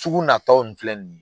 Sugu natɔ ni filɛ nin ye